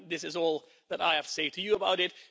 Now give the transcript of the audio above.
This is all that I have to say to you about it.